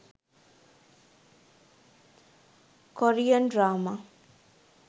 korean drama